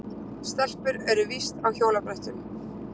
Stelpur eru víst á hjólabrettum.